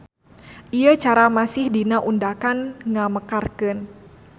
Ieu cara masih dina undakan ngamekarkeun.